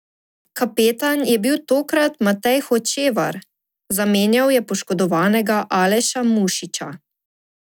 Kapetan je bil tokrat Matej Hočevar, zamenjal je poškodovanega Aleša Mušiča.